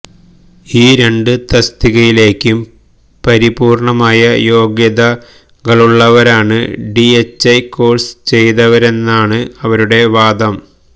ഈ രണ്ട് തസ്തികയിലേക്കും പരിപൂര്ണമായ യോഗ്യതകളുള്ളവരാണ് ഡിഎച്ച്ഐ കോഴ്സ് ചെയ്തവരെന്നാണ് അവരുടെ വാദം